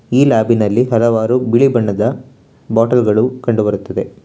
ಈ ಲ್ಯಾಬಿನಲ್ಲಿ ಹಲವಾರು ಬಿಳಿ ಬಣ್ಣದ ಬಾಟಲ್ ಗಳು ಕಂಡು ಬರುತ್ತದೆ.